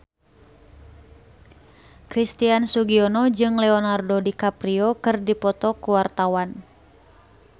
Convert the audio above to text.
Christian Sugiono jeung Leonardo DiCaprio keur dipoto ku wartawan